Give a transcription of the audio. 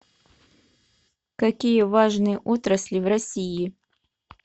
какие важные отрасли в россии